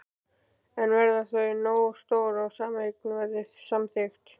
En verða þau nógu stór ef sameining verður samþykkt?